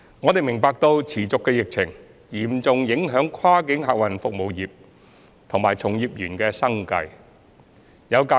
我們明白持續的疫情嚴重影響跨境客運業界及從業員的生計。